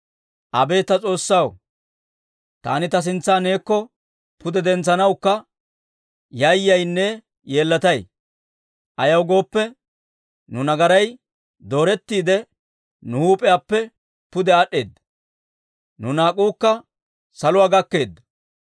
«Abeet ta S'oossaw, taani ta sintsa neekko pude dentsanawukka yayyaynne yeellatay; ayaw gooppe, nu nagaray doorettiide, nu huup'iyaappe pude aad'd'eedda; nu naak'uukka saluwaa gakkeedda.